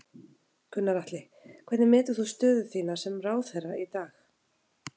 Gunnar Atli: Hvernig metur þú stöðu þína sem ráðherra í dag?